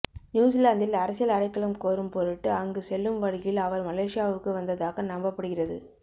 நியூசிலாந்தில் அரசியல் அடைக்கலம் கோரும் பொருட்டு அங்கு செல்லும் வழியில் அவர் மலேசியாவுக்கு வந்ததாக நம்பப்படுகிறது